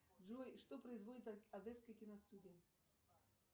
джой что производит одесская киностудия